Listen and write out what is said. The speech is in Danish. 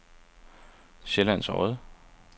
Sjællands Odde